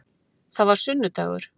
Það var sunnudagur.